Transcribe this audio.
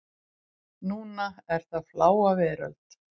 Núna er það Fláa veröld.